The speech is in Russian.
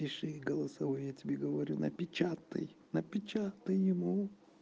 пиши голосовой я тебе говорю напечатай напечатай ему